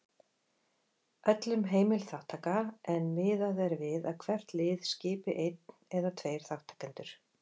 Öllum heimil þátttaka en miðað er við að hvert lið skipi einn eða tveir þátttakendur.